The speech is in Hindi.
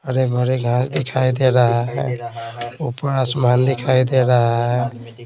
हरे भरे घास दिखाई दे रहा है ऊपर आसमान दिखाई दे रहा है।